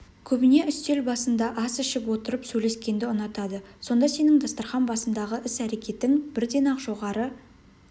көбіне үстел басында ас ішіп отырып сөйлескенді ұнатады сонда сенің дастарқан басындағы іс-әрекетің бірден-ақ жоғары